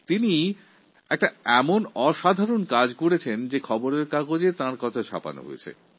উনি এক অভিনব কাজ করেছেন যা সংবাদপত্রে ছাপা হয়েছে